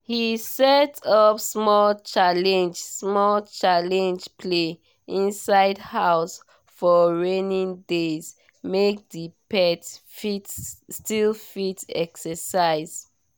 he set up small challenge small challenge play inside house for rainy days make the pet still fit exercise